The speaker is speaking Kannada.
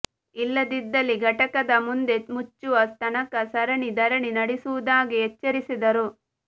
ಇಲ್ಲದಿದ್ದಲ್ಲಿ ಘಟಕದ ಮುಂದೆ ಮುಚ್ಚುವ ತನಕ ಸರಣಿ ಧರಣಿ ನಡೆಸುವುದಾಗಿ ಎಚ್ಚರಿಸಿದರು